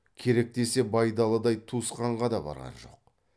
керек десе байдалыдай туысқанға да барған жоқ